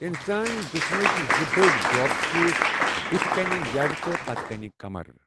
اِنسٲنی جِسمٕكۍ زٕ بٔڈۍ دۄب چھِ بُتھِ كِنہِ یَڈ تہٕ پتہِ كِنہِ كمر ۔